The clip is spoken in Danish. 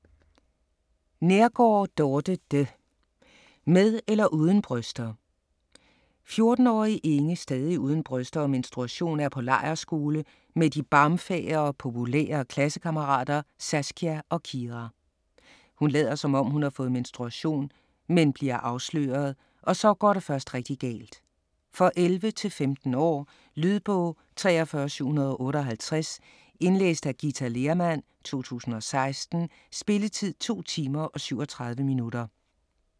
Neergaard, Dorthe de: Med eller uden bryster 14-årige Inge, stadig uden bryster og menstruation, er på lejrskole med de barmfagre, populære klassekammerater Saskia og Kira. Hun lader, som om hun har fået menstruation, men bliver afsløret, og så går det først rigtigt galt. For 11-15 år. Lydbog 43758 Indlæst af Ghita Lehrmann, 2016. Spilletid: 2 timer, 37 minutter.